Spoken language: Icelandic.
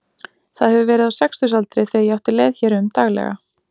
Það hefur verið á sextugsaldri þegar ég átti leið hér um daglega.